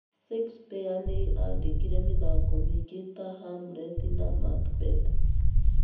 Shakespeare nĩ aandĩkire mĩthako mĩingĩ ta "Hamlet" na "Macbeth".